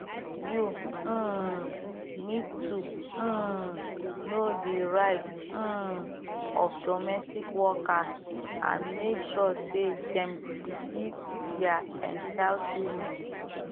you um need to um know di right um of domestic workers and make sure say dem receive dia entitlement